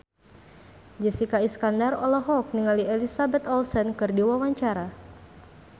Jessica Iskandar olohok ningali Elizabeth Olsen keur diwawancara